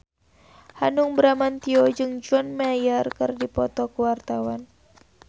Hanung Bramantyo jeung John Mayer keur dipoto ku wartawan